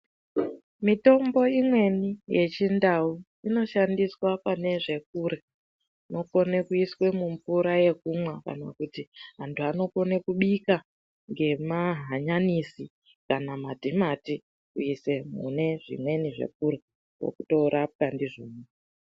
Mitombo imweni yechindau inoshandiswa pane zvekurya inokone kuiswa mumvura yekumwa kana kuti antuanokone kubika ngemahanyanisi kana matimati kuise mune zvimweni zvekurya kwatorapwa ndizvona.